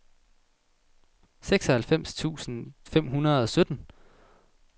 seksoghalvfems tusind fem hundrede og sytten